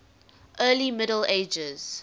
early middle ages